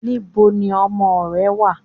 Níboni ọmọ ò rẹ̀ wà?